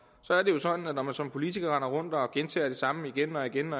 så er det jo sådan at når man som politiker render rundt og gentager det samme igen og igen